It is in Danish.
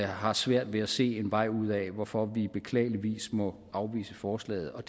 har svært ved at se en vej ud af hvorfor vi beklageligvis må afvise forslaget og